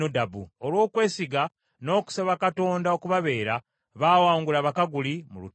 Olw’okwesiga n’okusaba Katonda okubabeera, baawangula Abakaguli mu lutalo.